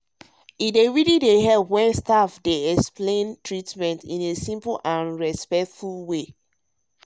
e dey really help dey really help when staff explain treatment in simple um way wey show um respect.